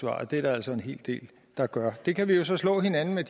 og det er der altså en hel del der gør de undersøgelser kan vi jo så slå hinanden i